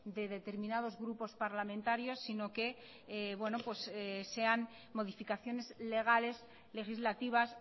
de determinados grupos parlamentarios sino que sean modificaciones legales legislativas